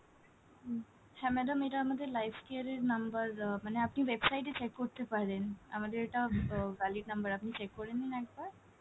হ্যাঁ madam এটা আমাদের lifecare এর number আহ মানে আপনি website এ check করতে পারেন, আমাদের এটা আহ valid number আপনি check করে নিন একবার।